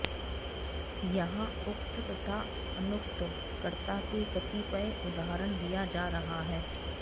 यहाँ उक्त तथा अनुक्त कर्ता के कतिपय उदाहरण दिया जा रहा है